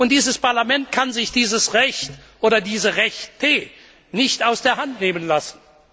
Und dieses Parlament kann sich dieses Recht oder diese Rechte nicht aus der Hand nehmen lassen.